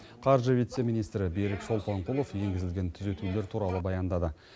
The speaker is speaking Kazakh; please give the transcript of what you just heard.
қаржы вице министрі берік шолпанқұлов енгізілген түзетулер туралы баяндады